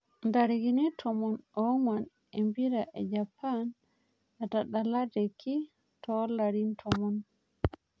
ntarikini tomon ong'uan empira ejapan natadalateki too larin tomon